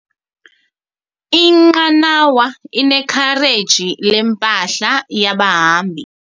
Inqanawa inekhareji lempahla yabahambi.